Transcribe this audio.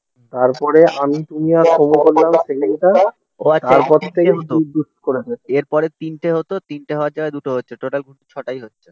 তারপরে আমি তুমি আর এরপরে তিনটে হতো তিনটে হওয়ার জায়গায় দুটো হচ্ছে. টোটাল কিন্তু ছটাই হচ্ছে